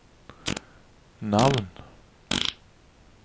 navn